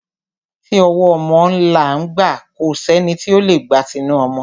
Ti ọwọ́ ọmọ là ń gbà, kò sẹ́ni tí o lè gba tinu ọmọ.